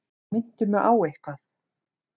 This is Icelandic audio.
Minntu mig á eitthvað.